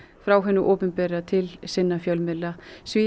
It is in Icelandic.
frá hinu opinbera til sinna fjölmiðla